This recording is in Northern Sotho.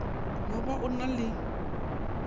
no ba o na le